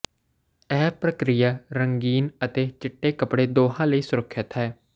ਇਹ ਪ੍ਰਕ੍ਰਿਆ ਰੰਗੀਨ ਅਤੇ ਚਿੱਟੇ ਕੱਪੜੇ ਦੋਹਾਂ ਲਈ ਸੁਰੱਖਿਅਤ ਹੈ